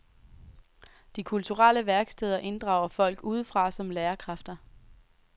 De kulturelle værksteder inddrager folk udefra som lærerkræfter.